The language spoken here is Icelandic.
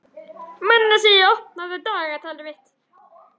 Manasína, opnaðu dagatalið mitt.